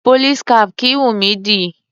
Police cap kìí wùnmí dì.